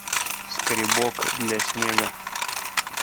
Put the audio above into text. скребок для снега